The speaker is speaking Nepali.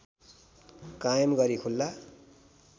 कायम गरी खुला